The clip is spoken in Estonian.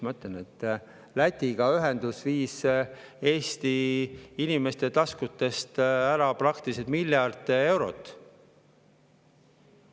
Ma ütlen, et ühendus Lätiga viis Eesti inimeste taskutest ära praktiliselt miljard eurot.